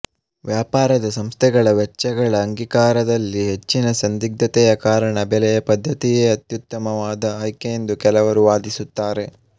ವ್ಯಾಪಾರದ ಸಂಸ್ಥೆಗಳ ವೆಚ್ಚಗಳ ಅಂಗೀಕಾರದಲ್ಲಿ ಹೆಚ್ಚಿನ ಸಂದಿಗ್ಧತೆಯ ಕಾರಣ ಬೆಲೆಯ ಪದ್ಧತಿಯೇ ಅತ್ಯುತ್ತಮವಾದ ಆಯ್ಕೆಯೆಂದು ಕೆಲವರು ವಾದಿಸುತ್ತಾರೆ